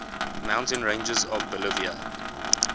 mountain ranges of bolivia